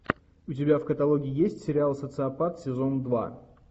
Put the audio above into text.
у тебя в каталоге есть сериал социопат сезон два